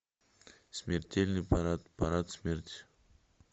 смертельный парад парад смерти